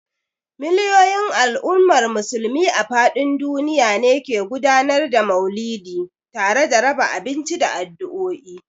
Miliyoyin al’ummar Musulmi a fadin duniya ne ke gudanar da Mauludi tare da raba abinci da addu'o'i.